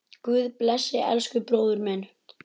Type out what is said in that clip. Guð blessi elsku bróður minn.